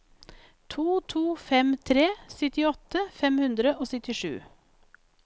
to to fem tre syttiåtte fem hundre og syttisju